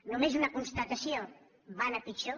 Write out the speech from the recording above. només una constatació van a pitjor